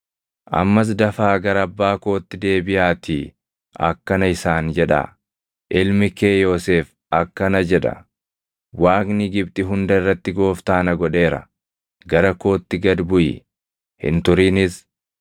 Ammas dafaa gara abbaa kootti deebiʼaatii akkana isaan jedhaa; ‘Ilmi kee Yoosef akkana jedha: Waaqni Gibxi hunda irratti gooftaa na godheera. Gara kootti gad buʼi; hin turinis.